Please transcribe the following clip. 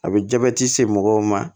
A bɛ jabɛti se mɔgɔw ma